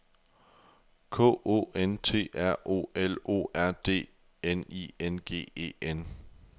K O N T R O L O R D N I N G E N